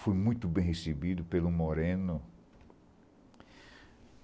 Fui muito bem recebido pelo Moreno.